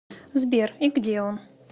сбер и где он